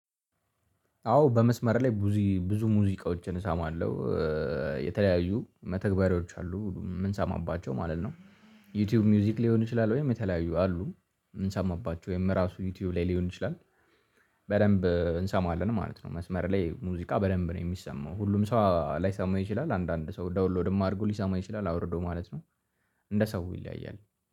አዎ በመስመር ላይ ብዙ ብዙ ሙዚቃዎችን እሰማለሁ የተለያዩ መተግበሪያዎች አሉ የምንሰማባቸው ማለት ነው። ዩቲዩብ ሙዚክ ሊሆን ይችላል ወይም የተለያዩ አሉ የምንሰማባቸው ወይም ራሱ ዩቲዩብ ላይ ሊሆን ይችላል። በደንብ እንሰማለን ማለት ነው። መስመር ላይ ሙዚቃ በደንብ ነው የሚሰማው ሁሉም ሰው ላይሰማው ይችላል አንዳንድ ሰው ዳውንሎድም አድርጎ ሊሰማው ይችላል አውርዶ ማለት ነው። እንደ ሰው ይለያያል